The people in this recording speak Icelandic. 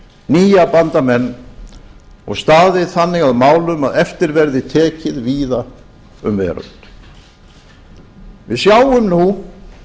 nýja bandamenn og staðið þannig að málum að eftir verði tekið víða um veröld við sjáum nú